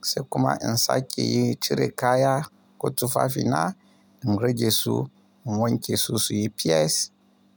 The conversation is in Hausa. sai kuma in sake yi cire kaya ko tufafina, in rage su, in wanke su, su yi fes.